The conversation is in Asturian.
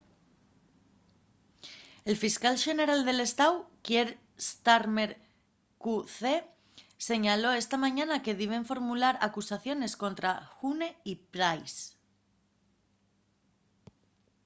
el fiscal xeneral del estáu kier starmer qc declaró esta mañana que diben formular acusación escontra huhne y pryce